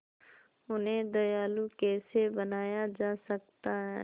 उन्हें दयालु कैसे बनाया जा सकता है